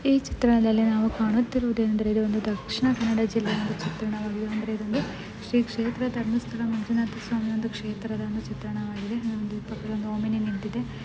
ಈ ಚಿತ್ರದಲ್ಲಿ ನಾವು ಕಾಣುತ್ತಿರುವುದು ಏನಂದರೆ ಇದು ಒಂದು ದಕ್ಷಿಣ ಕನ್ನಡ ಜಿಲ್ಲೆಯ ಒಂದು ಚಿತ್ರಣವಾಗಿದೆ. ಅಂದರೆ ಇದು ಒಂದು ಶ್ರೀ ಕ್ಷೇತ್ರ ಧರ್ಮಸ್ಥಳ ಮಂಜುನಾಥ ಸ್ವಾಮಿಯ ಒಂದು ಕ್ಷೇತ್ರದ ಚಿತ್ರಣವಾಗಿದೆ. ಇಲ್ಲಿ ಪಕ್ಕದಲ್ಲೊಂದು ಓಮಿನಿ ನಿಂತಿದೆ.